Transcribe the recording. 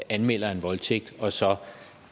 anmelder en voldtægt og så